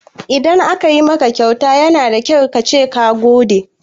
Idan aka maka kyauta yana da kyau kace ka gode.